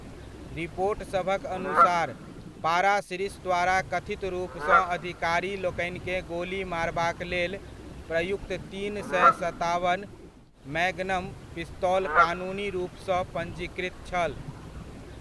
रिपोटसभक अनुसार, पारासिरिस द्वारा कथित रूपसँ अधिकारी लोकनिकेँ गोली मारबाक लेल प्रयुक्त तीन सए सताबन मैग्नम पिस्तौल कानूनी रूपसँ पञ्जीकृत छल।